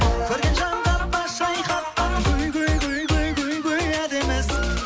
көрген жанға бас шайқатқан гүл гүл гүл гүл гүл гүл әдемісің